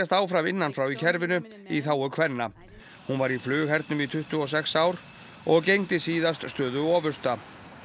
áfram innan frá í kerfinu í þágu kvenna hún var í flughernum í tuttugu og sex ár og gegndi síðast stöðu ofursta